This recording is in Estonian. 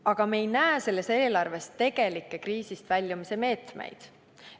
Aga me ei näe selles eelarves tegelikke kriisist väljumise meetmeid.